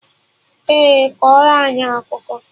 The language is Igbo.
Ee, kọrọ anyị akụkọ